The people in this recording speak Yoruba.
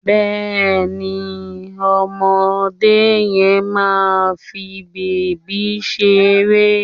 Bẹ́ẹ̀ni ọmọdé yẹn máa fi bèbí ṣeré